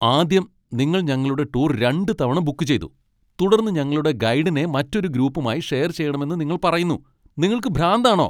ആദ്യം, നിങ്ങൾ ഞങ്ങളുടെ ടൂർ രണ്ടുതവണ ബുക്ക് ചെയ്തു, തുടർന്ന് ഞങ്ങളുടെ ഗൈഡിനെ മറ്റൊരു ഗ്രൂപ്പുമായി ഷെയർ ചെയ്യണമെന്ന് നിങ്ങൾ പറയുന്നു. നിങ്ങൾക്കു ഭ്രാന്താണോ ?